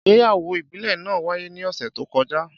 Ìgbéyàwó ìbílẹ̀ náà wáyé ní ọ̀sẹ̀ tó kọjá.